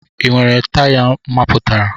Ị nwere taya mapụtara?